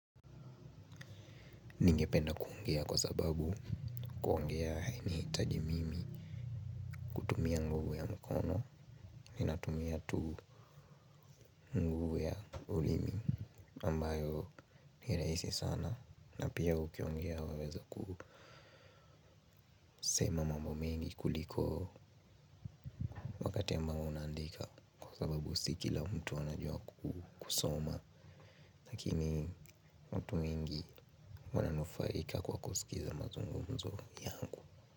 Ningependa kuongea kwa sababu kuongea haini taji mimi ku tumia nguvu ya mkono. Ninatumia tu nguvu ya ulimi ambayo niraisi sana. Napia ukiongea waweza kusema mambo mengi kuliko kati amba unaandika kwa sababu si kila mtu anajua kusoma. Lakini mtu mingi wananufaika kwa kusikiza mazungumzo yangu.